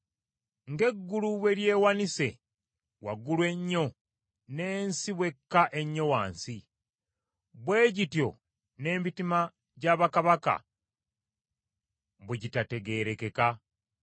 Ng’eggulu bwe lyewanise waggulu ennyo n’ensi bw’ekka ennyo wansi, bwe gityo n’emitima gya bakabaka bwe gitategeerekeka.